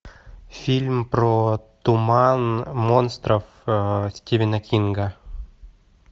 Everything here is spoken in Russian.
фильм про туман монстров стивена кинга